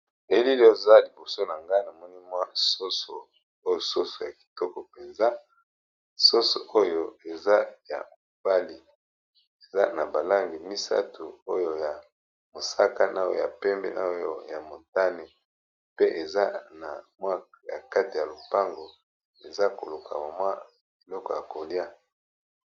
Elili oza liboso na nga na moni mwa soso oyo soso ya kitoko mpenza. Soso oyo eza ya mobali eza na balangi misato ,oyo ya mosaka, na ya pembe ,na oyo ya motane pe eza na mwaka ya kati ya lopango eza koluka mamwa eloko ya kolia.